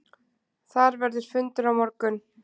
Þar verður fundur á morgun.